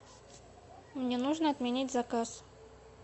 мне нужно отменить заказ